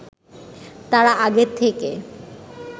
তারা আগের থেকে